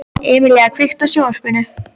Emelía, kveiktu á sjónvarpinu.